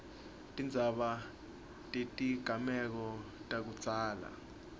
tindzaba tetigameko takudzala